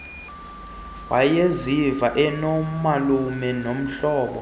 wayeziva enomalume nomhlobo